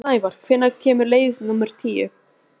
Snævarr, hvenær kemur leið númer tíu?